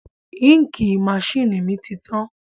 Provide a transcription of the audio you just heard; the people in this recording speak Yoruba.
Ínkìì masínìì mi ti tán